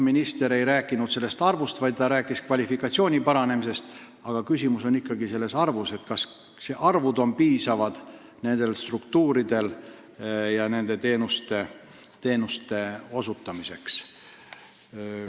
Minister ei rääkinud töötajate arvust, vaid ta rääkis nende kvalifikatsiooni parandamise vajadusest, aga küsimus on ikka selles, kas inimeste arv nendes struktuurides on piisav kõigi vajalike teenuste osutamiseks.